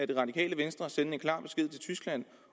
det radikale venstre sende en klar besked til tyskland